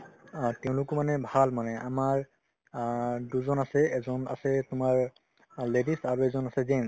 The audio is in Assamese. অ, তেওঁলোকো মানে ভাল মানে আমাৰ অ দুজন আছে এজন আছে তোমাৰ ladies আৰু এজন আছে gents